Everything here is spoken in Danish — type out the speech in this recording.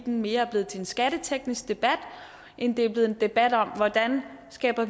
mere blevet til en skatteteknisk debat end det er blevet en debat om hvordan vi skaber